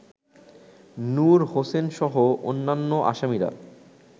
নূর হোসেনসহ অন্যান্য আসামিরা